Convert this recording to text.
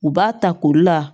U b'a ta koli la